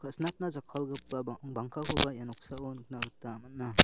kasinatna jakkalgipa bang-bangkakoba ia noksao nikna gita man·a.